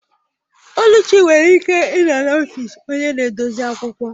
Oluchi nwere ike ịnọ n'ọfịs onye na-edozi akwụkwọ